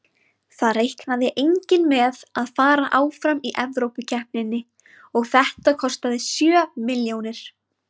Það reiknaði enginn með að fara áfram í Evrópukeppninni og þetta kostaði sjö milljónir.